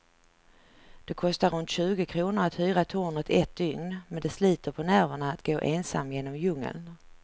Det kostar runt tjugo kronor att hyra tornet ett dygn, men det sliter på nerverna att gå ensam genom djungeln.